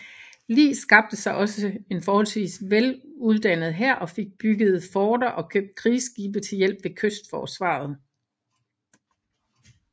Li skabte sig også en forholdsvis vel uddannet hær og fik bygget forter og købt krigsskibe til hjælp ved kystforsvaret